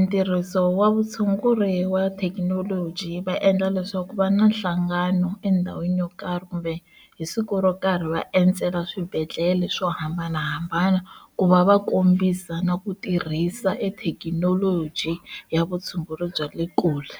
ntirhiso wa vutshunguri wa thekinoloji va endla leswaku va na nhlangano endhawini yo karhi kumbe hi siku ro karhi va endzela swibedhlele swo hambanahambana ku va va kombisa na ku tirhisa ethekinoloji ya vutshunguri bya le kule.